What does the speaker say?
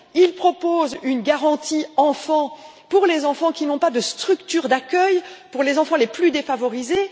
Il propose une garantie enfants pour les enfants qui n'ont pas de structure d'accueil, pour les enfants les plus défavorisés.